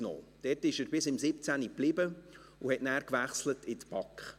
Dort blieb er bis 2017 und wechselte dann in die BaK.